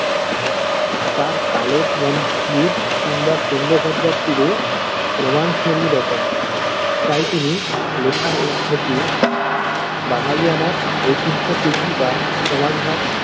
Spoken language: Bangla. তাঁর কালের মন্দির কিংবা তুঙ্গ ভদ্রার তীরে প্রমান রচনা তাই তিনি লেখার মধ্য দিয়েই বাঙালিয়ানার ঐতিহ্য প্রীতি বা সমাজ ভাগ।